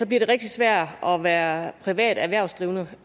bliver det rigtig svært at være privat erhvervsdrivende